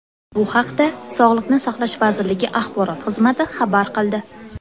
Bu haqda Sog‘liqni saqlash vazirligi axborot xizmati xabar qildi .